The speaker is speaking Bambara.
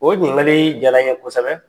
O ɲinikali jara n ye kosɛbɛ.